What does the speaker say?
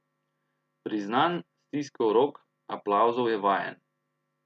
Priznanj, stiskov rok, aplavzov je vajen.